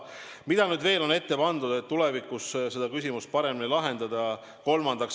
Mida nüüd veel on ette pandud, et tulevikus seda küsimust paremini lahendada?